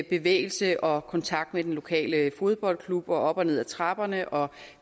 bevægelse og kontakt med den lokale fodboldklub og op og ned ad trapperne og